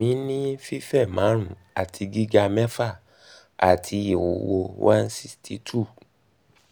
emi ni fife marun ati um giga mefa ati iwuwo one hundred and sixty two